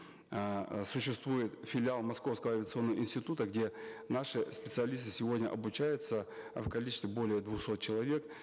э существует филиал московского авиационного института где наши специалисты сегодня обучаются э в количестве более двухсот человек